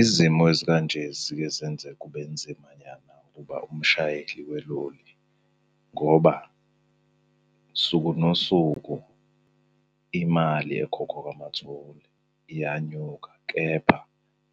Izimo ezikanje zike zenze kube nzimanyana ukuba umshayeli weloli ngoba suku nosuku imali ekhokhwa kwama-toll iyanyuka, kepha